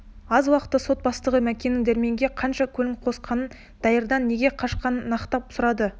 аз уақытта сот бастығы мәкеннің дәрменге қашан көңіл қосқанын дайырдан неге қашқанын нықтап сұрады